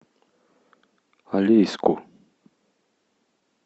алейску